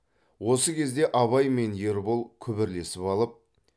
осы кезде абай мен ербол күбірлесіп алып